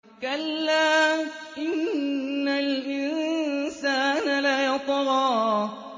كَلَّا إِنَّ الْإِنسَانَ لَيَطْغَىٰ